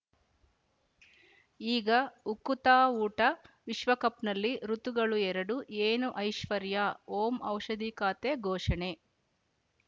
ಈಗ ಉಕುತ ಊಟ ವಿಶ್ವಕಪ್‌ನಲ್ಲಿ ಋತುಗಳು ಎರಡು ಏನು ಐಶ್ವರ್ಯಾ ಓಂ ಔಷಧಿ ಖಾತೆ ಘೋಷಣೆ